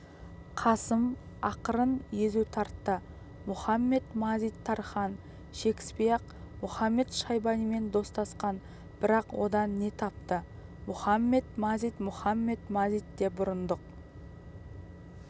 қасым ақырын езу тартты мұхамед-мазит-тархан шекіспей-ақ мұхамед-шайбанимен достасқан бірақ одан не тапты мұхамед-мазит мұхамед-мазит те бұрындық